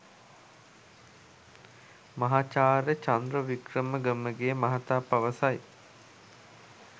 මහාචාර්ය චන්ද්‍ර වික්‍රම ගමගේ මහතා පවසයි.